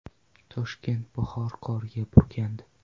Toshkent bahor qoriga burkandi .